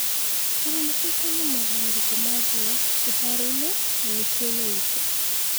Kana nĩ tũkuona mogarũrũku ma biũ iharoinĩ na miciĩ inĩ itũ?